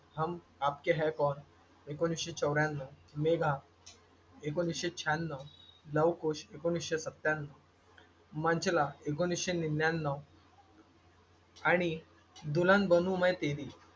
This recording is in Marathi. हम आपके है कौन एकोणीसशे चौऱ्याण्णव, मेघा एकोणीसशे शहाण्णव, लव-कुश एकोणीसशे सत्त्याण्णव, मंचला एकोणीसशे निन्यान्नव आणि दुल्हन बनू में तेरी,